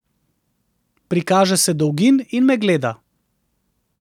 Prikaže se Dolgin in me gleda.